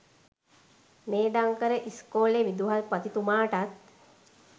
මේධංකර ඉස්‌කෝලෙ විදුහල්පතිතුමාටත්